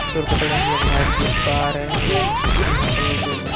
floor का colour हम लोग वाइट देख पा रहे हैं या यहाँ पर जो --